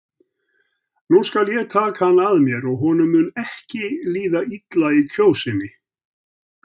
Nú skal ég taka hann að mér og honum mun ekki líða illa í Kjósinni.